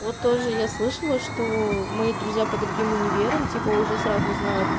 вот тоже я слышала что мои друзья по другим универам типа уже сразу знают